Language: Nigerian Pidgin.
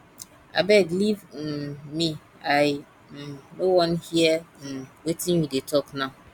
abeg leave um me i um no wan hear um wetin you dey talk now